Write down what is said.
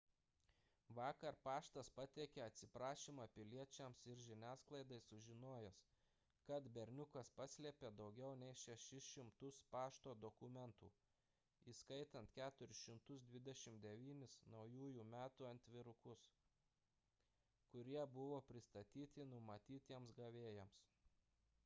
vakar paštas pateikė atsiprašymą piliečiams ir žiniasklaidai sužinojęs kad berniukas paslėpė daugiau nei 600 pašto dokumentų įskaitant 429 naujųjų metų atvirukus kurie nebuvo pristatyti numatytiems gavėjams